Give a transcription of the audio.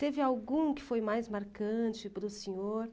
Teve algum que foi mais marcante para o senhor?